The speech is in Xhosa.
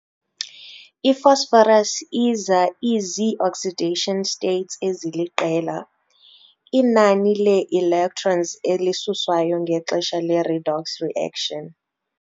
I-phosphorus iza izii-oxidation states, eziliqela, inani lee-electrons elisuswayo ngexesha le-redox reaction.